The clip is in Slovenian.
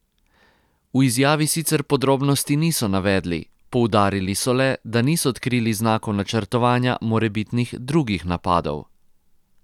V izjavi sicer podrobnosti niso navedli, poudarili so le, da niso odkrili znakov načrtovanja morebitnih drugih napadov.